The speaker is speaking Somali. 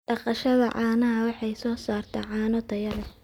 Dhaqashada caanaha waxay soo saartaa caano tayo leh.